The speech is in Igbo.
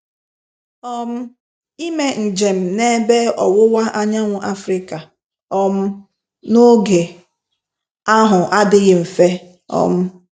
um Ime njem n’Ebe Ọwụwa Anyanwụ Africa um n’oge ahụ adịghị mfe um.